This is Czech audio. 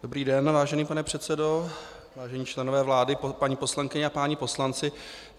Dobrý den, vážený pane předsedo, vážení členové vlády, paní poslankyně a páni poslanci.